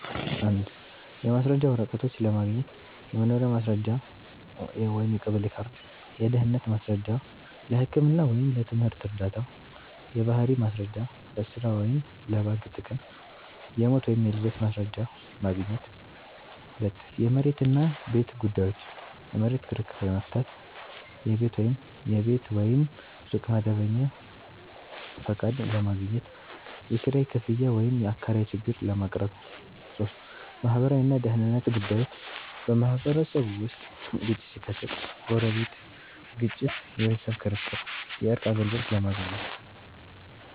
1. የማስረጃ ወረቀቶች ለማግኘት · የመኖሪያ ማስረጃ (የቀበሌ ካርድ) · የድህነት ማስረጃ (ለህክምና ወይም ለትምህርት ዕርዳታ) · የባህሪ ማስረጃ (ለሥራ ወይም ለባንክ ጥቅም) · የሞት ወይም የልደት ማስረጃ ማግኘት 2. የመሬት እና ቤት ጉዳዮች · የመሬት ክርክር ለመፍታት · የቤት ወይም ሱቅ መደበኛ ፈቃድ ለማግኘት · የኪራይ ክፍያ ወይም የአከራይ ችግር ለማቅረብ 3. ማህበራዊ እና ደህንነት ጉዳዮች · በማህበረሰብ ውስጥ ግጭት ሲከሰት (ጎረቤት ግጭት፣ የቤተሰብ ክርክር) የእርቅ አገልግሎት ለማግኘት